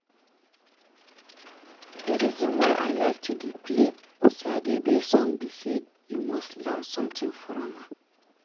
The reason why I like to dey play Osadebe song be say you must learn something from am